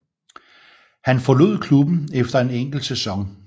Han forlod klubben efter en enkelt sæson